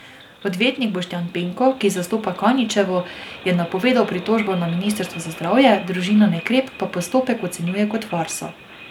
Odvetnik Boštjan Penko, ki zastopa Kaničevo, je napovedal pritožbo na ministrstvo za zdravje, družina Nekrep pa postopek ocenjuje kot farso.